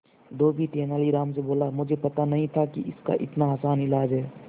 धोबी तेनालीराम से बोला मुझे पता नहीं था कि इसका इतना आसान इलाज है